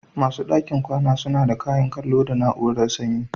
Wasu ɗakin kwana suna da kayan kallo da na'urar sanyi.